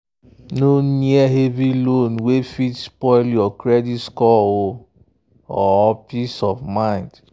no near heavy loan wey fit spoil your credit score or peace of mind.